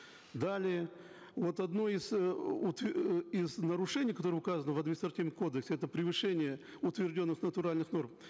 далее вот одно из э из нарушений которое указано в административной кодексе это превышение утвержденных натуральных норм